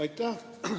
Aitäh!